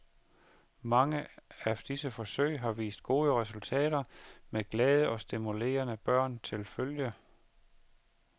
Mange af disse forsøg har vist gode resultater med glade og stimulerede børn til følge.